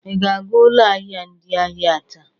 Ị ga-aga ụlọ ahịa ndị ahịa taa?